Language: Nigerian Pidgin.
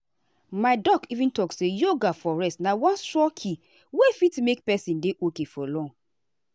my doctor even talk say yoga for rest na one strong key wey fit make person dey okay for long.